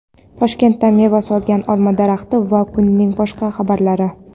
Toshkentda meva solgan olma daraxti va kunning boshqa xabarlari.